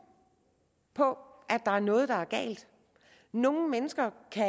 på at der er noget der er galt nogle mennesker kan